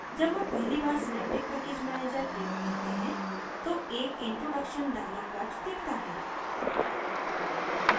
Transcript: जब हम पहली बार synaptic package manager प्रयोग करते हैं तो एक introduction dialog box दिखता है